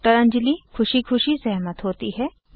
doctor Anjali ख़ुशी ख़ुशी सहमत होती है